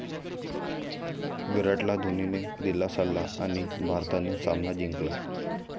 विराटला धोनीने दिला सल्ला आणि भारताने सामना जिंकला